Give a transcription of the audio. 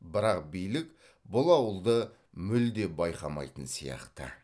бірақ билік бұл ауылды мүлде байқамайтын сияқты